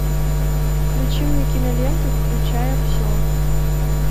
включи мне киноленту включая все